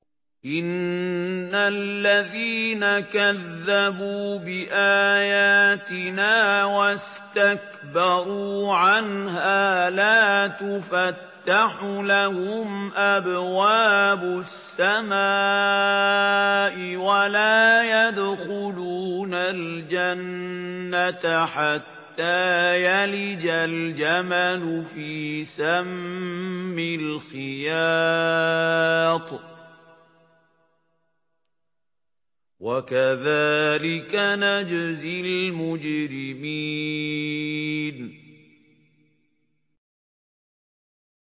إِنَّ الَّذِينَ كَذَّبُوا بِآيَاتِنَا وَاسْتَكْبَرُوا عَنْهَا لَا تُفَتَّحُ لَهُمْ أَبْوَابُ السَّمَاءِ وَلَا يَدْخُلُونَ الْجَنَّةَ حَتَّىٰ يَلِجَ الْجَمَلُ فِي سَمِّ الْخِيَاطِ ۚ وَكَذَٰلِكَ نَجْزِي الْمُجْرِمِينَ